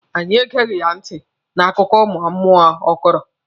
Anyị egeghị ya ntị n'akụkọ ụmụ mmụọ ọ kọrọ.